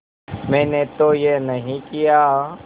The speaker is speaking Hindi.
मैंने तो यह नहीं किया